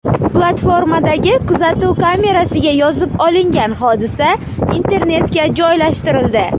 Platformadagi kuzatuv kamerasiga yozib olingan hodisa internetga joylashtirildi.